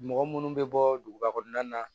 Mɔgɔ munnu bɛ bɔ duguba kɔnɔna na